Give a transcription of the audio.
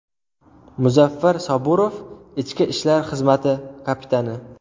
Muzaffar Saburov, ichki ishlar xizmati kapitani.